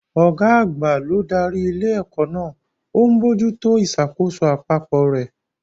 Ọ̀gá àgbà ló darí ilé-ẹ̀kọ́ náà, ó ń bójú tó ìṣàkóso àpapọ̀ rẹ̀.